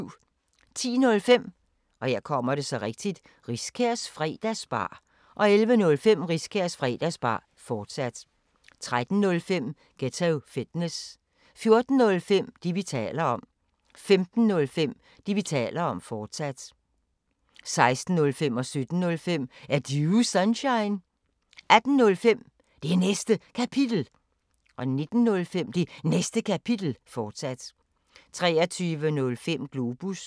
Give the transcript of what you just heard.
10:05: Riskærs Fredagsbar 11:05: Riskærs Fredagsbar, fortsat 13:05: Ghetto Fitness 14:05: Det, vi taler om 15:05: Det, vi taler om, fortsat 16:05: Er Du Sunshine? 17:05: Er Du Sunshine? 18:05: Det Næste Kapitel 19:05: Det Næste Kapitel, fortsat 23:05: Globus